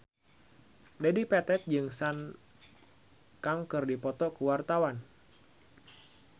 Dedi Petet jeung Sun Kang keur dipoto ku wartawan